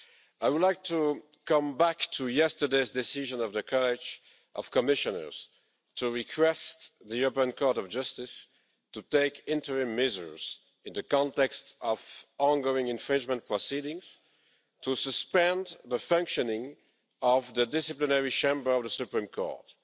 I would like to come back to yesterday's decision of the College of Commissioners to request the European Court of Justice to take interim measures in the context of ongoing infringement proceedings, to suspend the functioning of the Disciplinary Chamber of the Supreme Court.